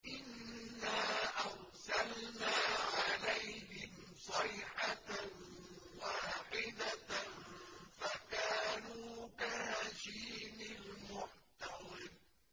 إِنَّا أَرْسَلْنَا عَلَيْهِمْ صَيْحَةً وَاحِدَةً فَكَانُوا كَهَشِيمِ الْمُحْتَظِرِ